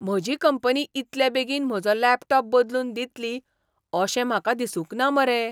म्हजी कंपनी इतले बेगीन म्हजो लॅपटॉप बदलून दितली अशें म्हाका दिसूंक ना मरे!